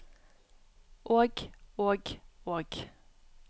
og og og